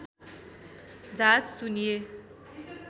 झा चुनिए